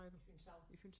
Fynshav